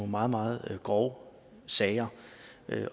meget meget grove sager